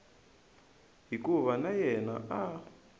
hikuva na yena a a